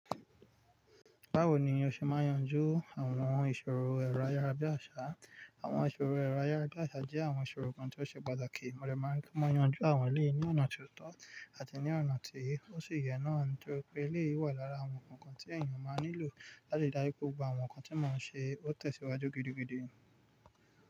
Báwo ni o ṣe máa yanjú àwọn ìṣòro ẹ̀rọ ayárabíàṣá? Àwọn ìṣòro ẹ̀rọ ayárabíàṣá jẹ́ àwọn ìṣòro kan tí ó ṣe pàtàkì. Mo lè má tún yanjú àwọn eléyìí ní ọ̀nà tó tọ́ àti ní ọ̀nà tí ó sì yẹ náà. Nítorí pé eléyìí wà lára àwọn nǹkan tí ènìyàn máa nílò láti dájú pé gbogbo àwọn nǹkan tí màá ṣe ó tẹ̀síwájú gidigidi.